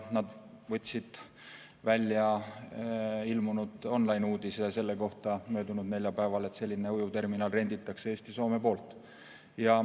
Nad võtsid seal möödunud neljapäeval välja online-uudise selle kohta, et selline ujuvterminal renditakse Eesti ja Soome poolt.